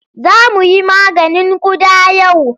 Za mu yi maganin ƙuda yau.